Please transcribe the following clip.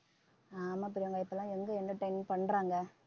ஆமா பிரியங்கா இப்ப எல்லாம் எங்க entertain பண்றாங்க